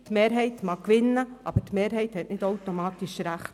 Die Mehrheit mag gewinnen, aber die Mehrheit hat nicht automatisch recht.